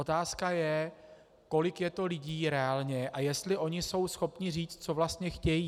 Otázka je, kolik je to lidí reálně a jestli oni jsou schopni říct, co vlastně chtějí.